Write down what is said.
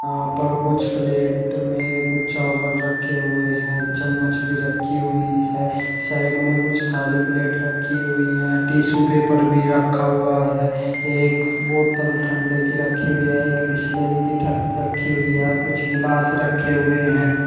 यहां पर कुछ प्लेट में कुछ चावल रखे हुए हैं चम्मच भी रखी हुई है साइड में कुछ खाली प्लेट रखी हुई हैं टिशू पेपर भी रखा हुआ है एक बोतल ठंडे की रखी हुई है एक बिसलेरी की ठ रखी हुई है कुछ गिलास रखे हुए हैं।